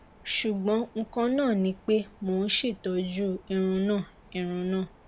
ṣugbọn nkan naa ni pe mo n ṣetọju irun naa irun naa